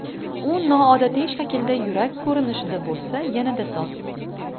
U noodatiy shaklda yurak ko‘rinishida bo‘lsa, yanada soz!